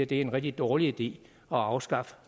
det er en rigtig dårlig idé at afskaffe